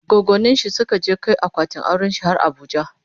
goggoninshi Suka je Kai akwatin aurenshi har abuja